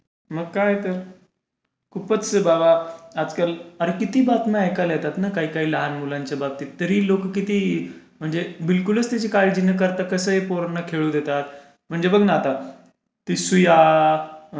मग काय तर.खूपच बाबा आजकाल. अरे किती बातम्या ऐकायला येतात ना काही काही लहान मुलांच्या बाबतीत. तरी लोक किती म्हणजे बिलकुलच त्याची काळजी न करता कसेही पोरांना खेळू देतात. म्हणजे बघ न आता, ती सुया,